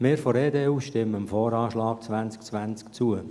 Wir von der EDU stimmen dem VA 2020 zu.